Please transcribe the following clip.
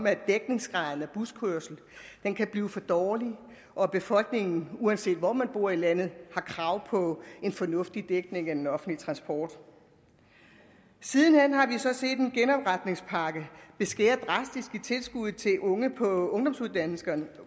at dækningsgraden af buskørsel kan blive for dårlig og at befolkningen uanset hvor man bor i landet har krav på en fornuftig dækning af den offentlige transport siden hen har vi så set en genopretningspakke der vil skære drastisk i tilskuddet til unge på ungdomsuddannelserne